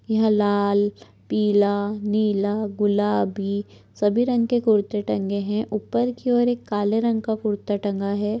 यहा लाल पीला नीला गुलाबी सभी रंग के कुर्ते टंगे है। उपर की और एक काले रंग का कुर्ता टंगा है।